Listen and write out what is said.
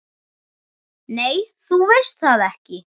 Nei, þú veist það ekki.